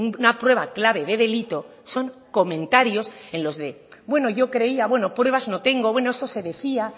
una prueba clave de delito son comentarios en los de bueno yo creía bueno pruebas no tengo bueno eso se decía